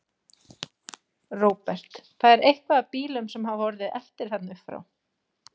Róbert: Það er eitthvað af bílum sem hafa orðið eftir þarna uppfrá?